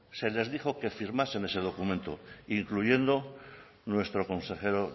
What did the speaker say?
se les dijo que firmasen ese documento incluyendo nuestro consejero